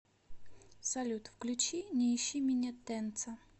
салют включи не ищи меня тенца